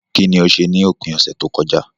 Kíní o se ni òpin ọ̀sẹ̀ tókojá